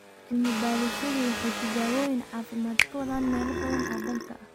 Cilmi baadhayaashu waxay tijaabooyin caafimaad ka wadaan meelo badan oo dalka ah.